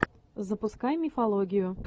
запускай мифологию